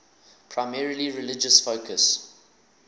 primarily religious focus